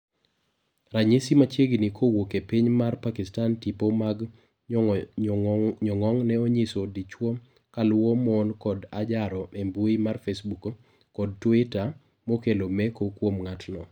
Ranyisi machiegni kowuok epiny mar Pakistan tipo mag nyong'ong' ne onyiso dichwo kaluwo mon kod ajaro embui mar fesbuk kod tuita mokelo meko kuom ngatno.